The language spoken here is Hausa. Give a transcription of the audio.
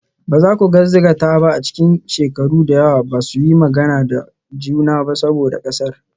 Ba za ku gaskata ba a cikin shekaru da yawa ba su yi magana da juna ba saboda ƙasar.